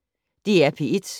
DR P1